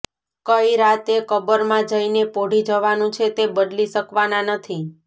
કઈ રાતે કબરમાં જઈને પોઢી જવાનું છે તે બદલી શકવાના નથી